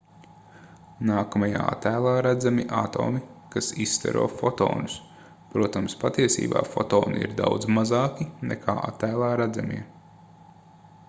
nākamajā attēlā redzami atomi kas izstaro fotonus protams patiesībā fotoni ir daudz mazāki nekā attēlā redzamie